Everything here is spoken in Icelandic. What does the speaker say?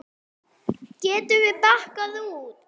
Getum við bakkað út?